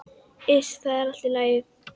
Iss, það er allt í lagi.